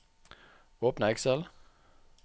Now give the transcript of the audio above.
Åpne Excel